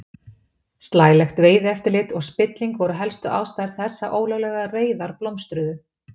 Slælegt veiðieftirlit og spilling voru helstu ástæður þess að ólöglegar veiðar blómstruðu.